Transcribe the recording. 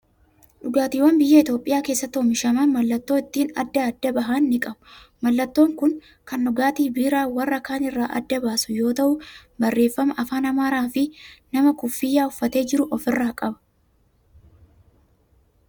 Dhugaatiiwwan biyya Itoophiyaa keessatti oomishaman mallattoo ittiin adda adda bahan ni qabu. Mallattoon kun kan dhugaatii biiraa warra kaan irraa adda baasu yoo ta'u, barreeffama afaan amaaraa fi nama kuffiyaa uffatee jiru ofirraa qaba.